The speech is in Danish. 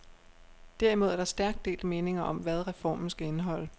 Derimod er der stærkt delte meninger om, hvad reformen skal indeholde.